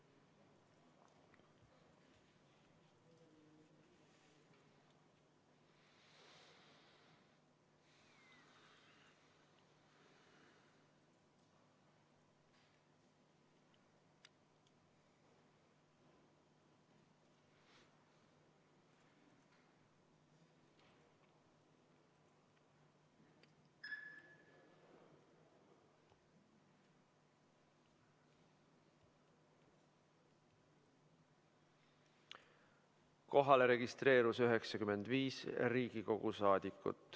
Kohalolijaks registreerus 95 Riigikogu liiget.